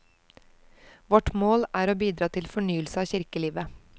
Vårt mål er å bidra til fornyelse av kirkelivet.